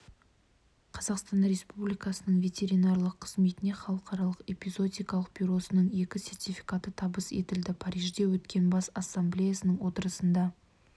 қазақстан республикасының ветеринарлық қызметіне халықаралық эпизоотикалық бюросының екі сертификаты табыс етілді парижде өткен бас ассамблеясының отырысында